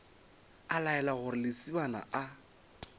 a laela gore lesibana a